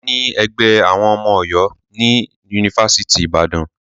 A ní ẹgbẹ́ àwọn ọmọ Ọ̀yọ́ ní ifáfitì Ibadan.